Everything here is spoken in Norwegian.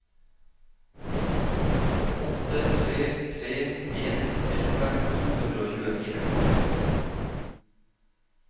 åtte tre tre en elleve to hundre og tjuefire